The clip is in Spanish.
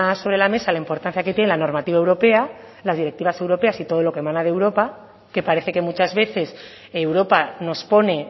sobre la mesa la importancia que tiene la normativa europea las directivas europeas y todo lo que emana de europa que parece que muchas veces europa nos pone